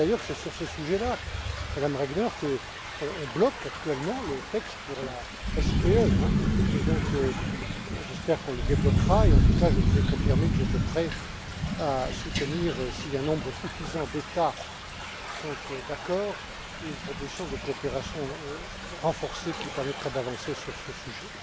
On voit bien, d'ailleurs, que c'est sur ce sujet là, Madame Regner, qu'on bloque actuellement le texte sur la SPE. J'espère qu'on le débloquera et, en tout cas, je vous ai confirmé que j'étais prêt à soutenir, si un nombre suffisant d'États sont d'accord, une proposition de coopération renforcée qui permettrait d'avancer sur ce sujet.